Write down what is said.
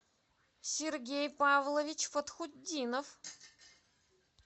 сергей павлович фатхутдинов